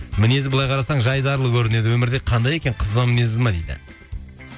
мінезі былай қарасаң жайдарлы көрінеді өмірде кандай екен қызба мінезді ме дейді